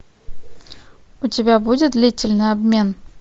у тебя будет длительный обмен